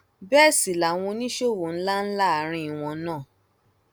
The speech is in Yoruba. bẹẹ sì làwọn oníṣòwò ńlá ńlá àárín wọn náà